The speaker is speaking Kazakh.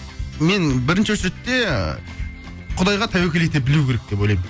мен бірінші очередте құдайға тәуекел ете білу керек деп ойлаймын